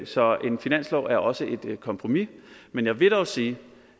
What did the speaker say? så en finanslov er også et kompromis men jeg vil dog sige